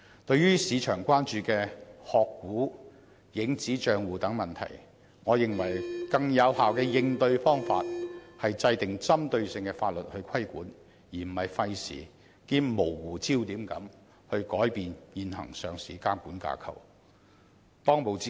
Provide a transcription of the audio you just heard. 對於市場關注的"殼股"和"影子帳戶"等問題，我認為更有效的應對方法是制定針對性的法律作出規管，而非費時兼模糊焦點地改變現行的上市監管架構。